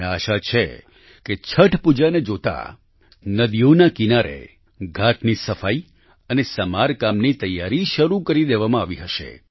મને આશા છે કે છઠ પૂજાને જોતાં નદીઓના કિનારે ઘાટની સફાઈ અને સમારકામની તૈયારી શરૂ કરી દેવામાં આવી હશે